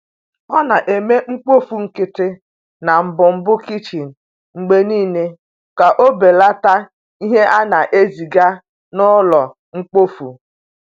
O na-eme mkpofu nkịtị na mbumbu kichin mgbe niile ka o belata ihe a na-eziga n’ụlọ mkpofu.